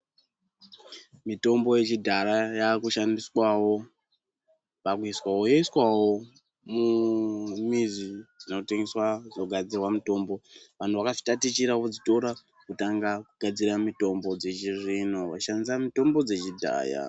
Mitombo yechidhara yakushandiswawo pakuiswa yoiswawo mumizi dzinotengeswa dzinogadzirwa mitombo anhu akafitatichira odzitora otanga kugadzira mitombo dzechizvino achishandisa mitombo dzechidhaya.